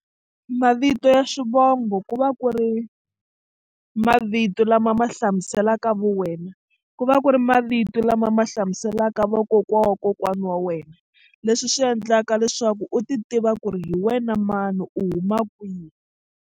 Mavito ya swivongo ku va ku ri mavito lama ma hlamuselaka vuwena ku va ku ri mavito lama ma hlamuselaka vakokwana wa kokwana wa wena leswi swi endlaka leswaku u titiva ku ri hi wena mani u huma kwihi.